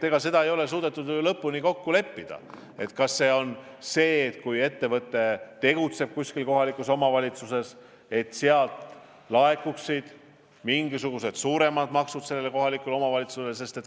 Tegelikult ei ole suudetud lõpuni kokku leppida, kas võiks olla nii, et kui ettevõte tegutseb kuskil kohalikus omavalitsuses, siis sealt laekuvad mingisugused maksud sellele kohalikule omavalitsusele.